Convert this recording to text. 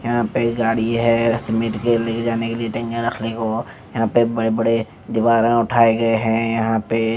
यहाँ पे एक गाडी है यहाँ पे बड़े-बड़े दीवारे उठाये गये है यहाँ पे --